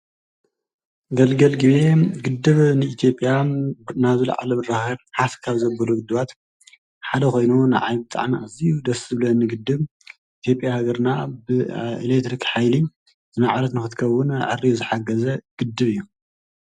ገልገል ግቤ ግደብ ንኢትዮጵያ ናብ ዝለዓለ ብራከ ሓፍ ካብ ዘብሉ ግድባት ሓደ ኮይኑ ንዓይ ብጣዕሚ ኣዝዩ ደስ ዝብለኒ ግድብ ኢትዮጲያ ሃገርና ብኤሊክትሪክ ሓይሊ ዝማዕበለት ንክትከዉን ዓርዩ ዝሓገዘ ግድብ እዩ ።